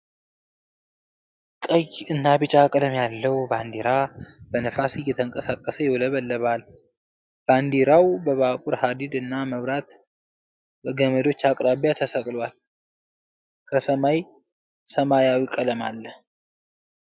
ቀይ እና ቢጫ ቀለም ያለው ባንዲራ በንፋስ እየተንቀሳቀሰ ይውለበለባል። ባንዲራው በባቡር ሀዲድ እና በመብራት ገመዶች አቅራቢያ ተሰቅሏል፤ ከሰማይ ሰማያዊ ቀለም አለ።